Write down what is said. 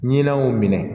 Ɲinan y'o minɛ